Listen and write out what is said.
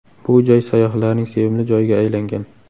Bu joy sayyohlarning sevimli joyiga aylangan.